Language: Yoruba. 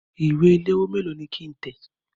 Ìwé ìléwọ́ méèló ni kí ń tẹ̀?